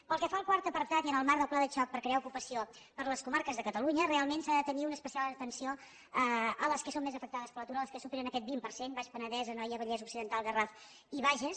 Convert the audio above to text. pel que fa al quart apartat i en el marc del pla de xoc per crear ocupació per les comarques de catalunya realment s’ha de tenir una especial atenció a les que són més afectades per l’atur a les que superen aquest vint per cent el baix penedès l’anoia el vallès occidental el garraf i el bages